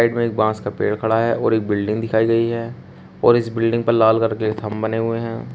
में एक बांस का पेड़ खड़ा है और एक बिल्डिंग दिखाई गई है और इस बिल्डिंग पर लाल करके थंब बने हुए हैं।